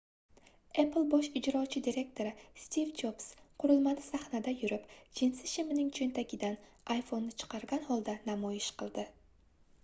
apple bosh ijrochi direktori stiv jobs qurilmani sahnada yurib jinsi shimining choʻntagidan iphoneʼni chiqargan holda namoyish qildi